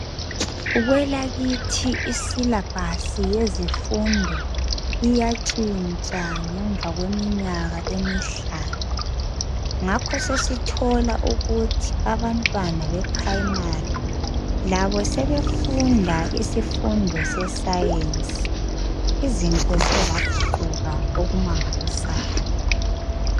Kwelakithi isilabhasi yezifundo iyatshintsha ngemva kweminyaka emihlanu ngakho sesithola ukuthi abantwana be primary labo sebefunda isifundo sescience izinto ziyaguquka okumangalisayo.